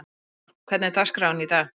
Sigþóra, hvernig er dagskráin í dag?